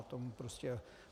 Já tomu prostě...